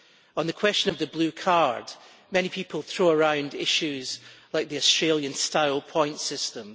On the question of the Blue Card, many people throw around issues like the Australian style points system.